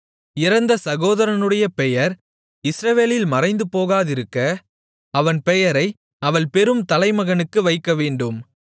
இறந்த சகோதரனுடைய பெயர் இஸ்ரவேலில் மறைந்துபோகாதிருக்க அவன் பெயரை அவள் பெறும் தலைமகனுக்கு வைக்கவேண்டும்